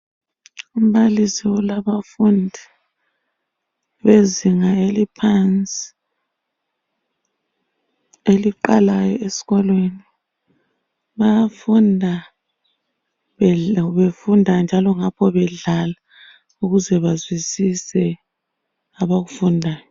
Umbalisi ulabafundi ,bezinga eliphansi eliqalayo eskolweni .Bayafunda befunda njalo ngapho bedlala ukuze bazwisise abakufundayo.